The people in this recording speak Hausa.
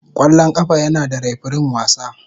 Kwallon kafa yana da refirin wasa.